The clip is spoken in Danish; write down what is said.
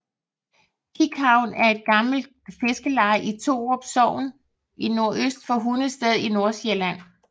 Kikhavn er et gammelt fiskerleje i Torup Sogn nordøst for Hundested i Nordsjælland